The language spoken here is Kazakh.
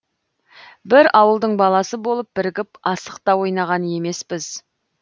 бір ауылдың баласы болып бірігіп асық та ойнаған емеспіз